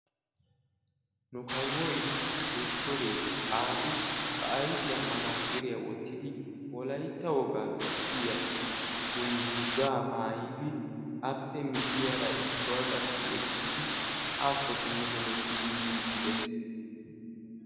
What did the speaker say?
nu kawoy dottoree Aabi ba ayfiyan manaxxiriyaa wottidi Wolaytta wogaa bessiyaa dungguzza maayidi appe miyyiyaara issuwaa ekkidi haakko simmi hemettidi yiidi de'ees.